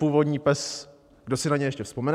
Původní PES, kdo si na něj ještě vzpomene.